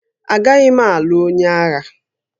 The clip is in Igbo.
Agaghị m alụ onye agha